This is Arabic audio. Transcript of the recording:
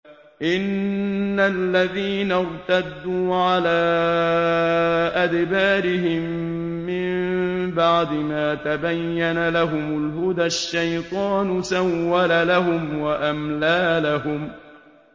إِنَّ الَّذِينَ ارْتَدُّوا عَلَىٰ أَدْبَارِهِم مِّن بَعْدِ مَا تَبَيَّنَ لَهُمُ الْهُدَى ۙ الشَّيْطَانُ سَوَّلَ لَهُمْ وَأَمْلَىٰ لَهُمْ